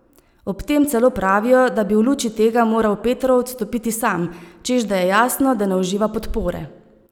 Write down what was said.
Ob tem celo pravijo, da bi v luči tega moral Petrov odstopiti sam, češ da je jasno, da ne uživa podpore.